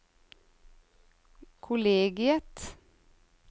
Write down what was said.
kollegiet